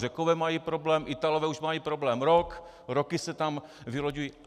Řekové mají problém, Italové už mají problém rok, roky se tam vyloďují.